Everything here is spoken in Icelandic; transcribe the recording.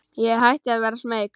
Ég hætti að vera smeyk.